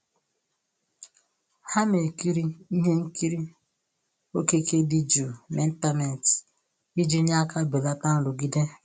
Ha na-ekiri ihe nkiri okike dị jụụ n'ịntanetị iji nye aka belata nrụgide mgbe nzukọ gasịrị